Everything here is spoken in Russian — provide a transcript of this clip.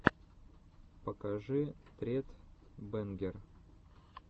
покажи тред бэнгер